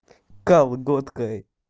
колготкой